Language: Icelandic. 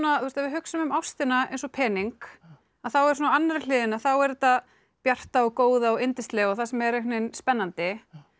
ef við hugsum um ástina eins og pening að þá er á annarri hliðinni er þetta bjarta og góða og yndislega og það sem er einhvern veginn spennandi